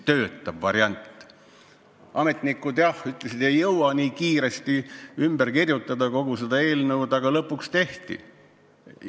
Ametnikud jah ütlesid, et ei jõua eelnõu nii kiiresti ümber kirjutada, aga lõpuks tehti see ära.